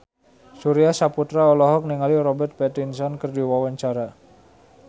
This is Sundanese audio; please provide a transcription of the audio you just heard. Surya Saputra olohok ningali Robert Pattinson keur diwawancara